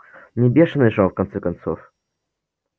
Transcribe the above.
не бешеный же он в конце концов